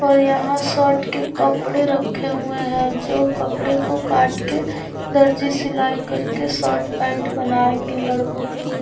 और यहाँ शर्ट के कपड़े रखे हुए है जो कपड़े को काट के दर्जी सिलाई कर के शर्ट पेंट बनाएंगे लड़को के लिए।